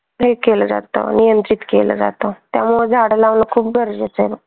हे केलं जात नियंत्रित केलं जात त्यामुळे झाडं लावण खूप गरजेच आहे.